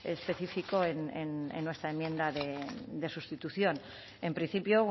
específico en nuestra enmienda de sustitución en principio